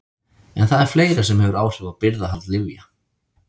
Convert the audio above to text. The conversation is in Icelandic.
En það er fleira sem hefur áhrif á birgðahald lyfja.